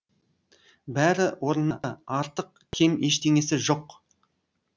бәрі орнында артық кем ештеңесі жоқ